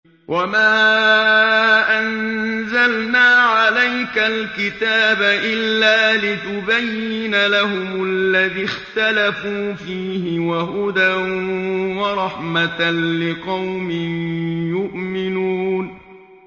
وَمَا أَنزَلْنَا عَلَيْكَ الْكِتَابَ إِلَّا لِتُبَيِّنَ لَهُمُ الَّذِي اخْتَلَفُوا فِيهِ ۙ وَهُدًى وَرَحْمَةً لِّقَوْمٍ يُؤْمِنُونَ